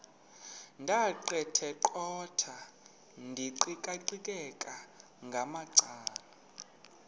ndaqetheqotha ndiqikaqikeka ngamacala